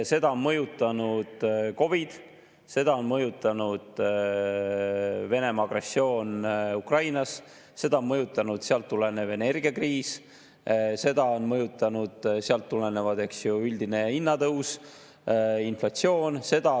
Seda on mõjutanud COVID, seda on mõjutanud Venemaa agressioon Ukrainas, seda on mõjutanud sealt tulenev energiakriis, seda on mõjutanud sealt tulenevad, eks ju, üldine hinnatõus, inflatsioon.